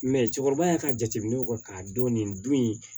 cɛkɔrɔbaya ka jateminɛw kɛ k'a dɔn nin don in